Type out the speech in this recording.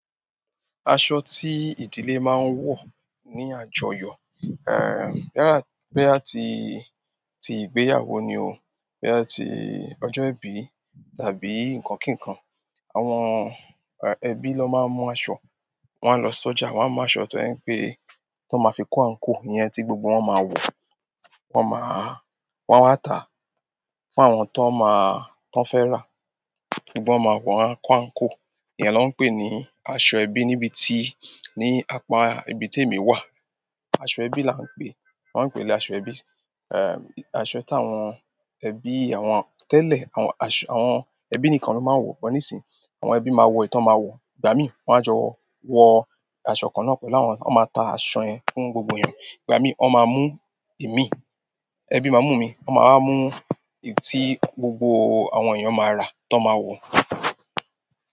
Aṣọ tí ìdílé máa ń wọ ní àjọyọ̀, boyà ti, tí ìgbéyàwó ni o, boya ti ọjọ́ ìbí tàbí nǹkan kíkan, àwọn ẹbí ló máa ń mú aṣọ. Wọ́n á lọ sọ́jà, wọ́n á mú aṣọ tó je pé, tó máa fi kó àǹkóò, ìyẹn tí gbogbo wọn máa wọ̀, wọn máa, wọn a tà fún àwọn tó máa, tan fẹ́ rà. Wọn máa wọ̀ wọ́n a kó àǹkóò. Ìyẹn ló ń pè ní aṣọ ẹbí níbi ti, ní apá ibi tí èmi wà. Aṣọ ẹbí là ń pè, wọ́n á ń pè é ní aṣọ ẹbí. Aṣọ tí àwọn ẹbí àwọn tẹ́lẹ̀, àwọn aṣọ, àwọn ẹbí nìkan ló máa ń wọ̀. Òpò níìsín àwọn ẹbí máa wọ ìtọ́ máa wọ̀, ìgbà mí wọ́n á jọ wọ aṣọ kan náà pẹ̀lú wọn, wọ́n máa ta aṣọ yẹn fún gbogbo èèyàn. Ìgbà mí wọn máa mú imi, ẹbí máa mú mi, wọ́n máa wa mú èyí tí gbogbo àwọn èèyàn máa rà, tan máa wọ̀.